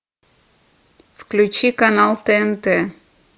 включи канал тнт